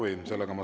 Ei soovi.